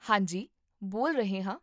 ਹਾਂਜੀ, ਬੋਲ ਰਹੇ ਹਾਂ